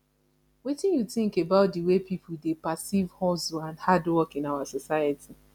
wetin you think about di way people dey perceive hustle and hard work in our society